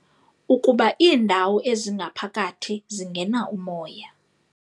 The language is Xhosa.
Ukuba iindawo ezingaphakathi zingena umoya kakuhle.